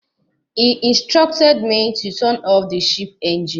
He instructed me to turn of the ship engine.